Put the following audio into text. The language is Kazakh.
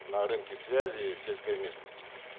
на рынке связи в сельской местности